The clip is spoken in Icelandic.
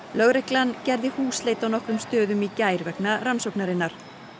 lögreglan gerði húsleit á nokkrum stöðum í gær vegna rannsóknarinnar